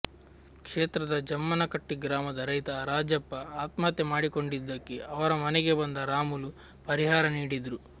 ಕ್ಷೇತ್ರದ ಜಮ್ಮನಕಟ್ಟಿ ಗ್ರಾಮದ ರೈತ ರಾಜಪ್ಪ ಆತ್ಮಹತ್ಯೆ ಮಾಡಿಕೊಂಡಿದ್ದಕ್ಕೆ ಅವರ ಮನೆಗೆ ಬಂದ ರಾಮುಲು ಪರಿಹಾರ ನೀಡಿದ್ರು